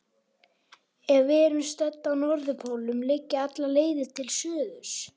Ef við erum stödd á norðurpólnum liggja allar leiðir til suðurs.